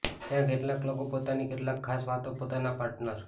ત્યાં કેટલાક લોકો પોતાની કેટલાક ખાસ વાતો પોતાના પાર્ટનર